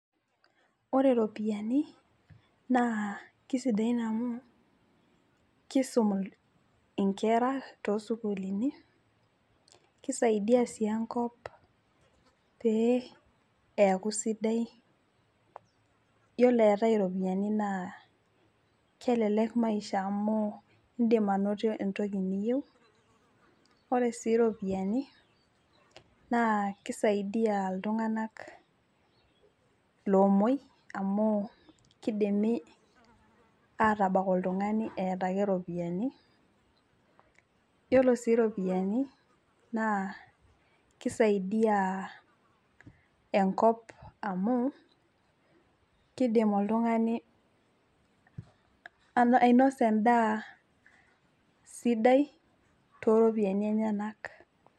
ore ropiyiani naakisidain amu kisum nkera too sukuulini, kisaidia sii enkop pee eeku sidai, ore eetae irpiyiani naa kelelek maisha amu idim anoto entoki niyieu, ore sii iropiyiani naa kisaidia iltunganak loomuoi amu kidimi aatabak olytungani eeta ake iropiyiani. ore sii iropiyiani naa kisaidia enkop amu idim oltungani ainosa edaa sidai too ropiyiani enyanak.